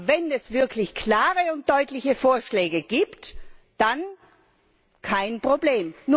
Aber wenn es wirklich klare und deutliche Vorschläge gibt, dann kein Problem.